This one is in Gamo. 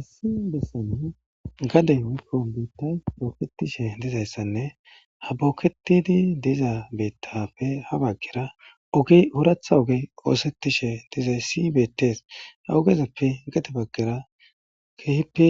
issi bessane gaden upomite pooketishe dizayssanne ha booketidi diza bettafe habaggera oge horatha oge oosetishe dizay si betes ha ogezappe gadebaggera keehippe